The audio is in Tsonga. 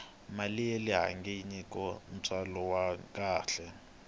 mali yale bangi yi nyika ntswalo wa kahle